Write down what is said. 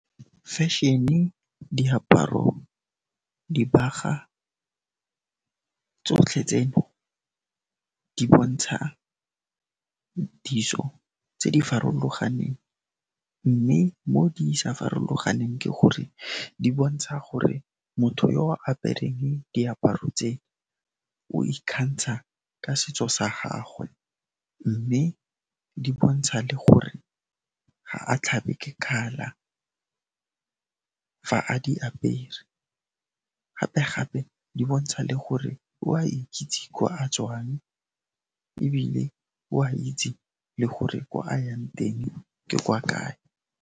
Fashion-e, diaparo, dibagwa tsotlhe tseno di bontsha ditso tse di farologaneng mme mo di sa farologaneng ke gore di bontsha gore motho yo apereng diaparo tse o ikgantsha ka setso sa gagwe mme di bontsha le gore ga a tlhabe ke kgala fa a di apere gape gape di bontsha le gore o a ikitse gore a tswang ebile o a itse le gore kwa a yang teng ke kwa kae.